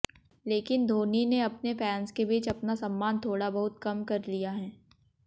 लेकिन धौनी ने अपने फैंस के बीच अपना सम्मान थोड़ा बहुत कम कर लिया है